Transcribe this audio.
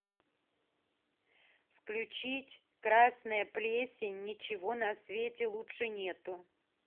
включить красная плесень ничего на свете лучше нету